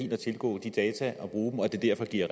tilgå de data og bruge dem og derfor giver